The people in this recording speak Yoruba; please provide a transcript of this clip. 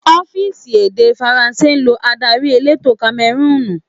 Orílẹ̀ èdè Faransé lọ adarí elétò Kamẹrúùnù.